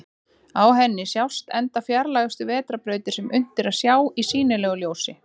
Á henni sjást enda fjarlægustu vetrarbrautir sem unnt er að sjá í sýnilegu ljósi.